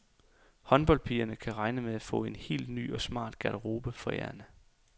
Håndboldpigerne kan regne med at få en helt ny og smart garderobe forærende.